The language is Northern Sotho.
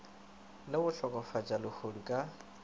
le go hlokofatša lehodu ka